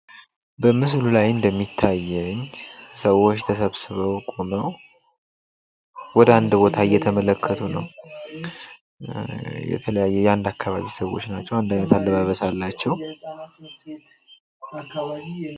በምስሉ ላይ እንደሚታየው ሰዎች ተሰብስበው ቆመው ወደ አንድ አቅጣጫ እየተመለከቱ ነው። የአንድ አካባቢ ስዎች ይባላሉ።